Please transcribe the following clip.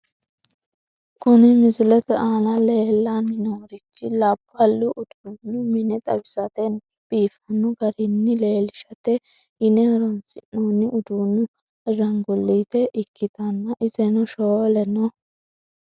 Kuni misilete aana leellanni noorichi labbalu uduunnu mine xawisatena biifanno garinni leellishate yine horonsi'noonni uduunnu ashaanguliite ukkitanna, iseno shoole no.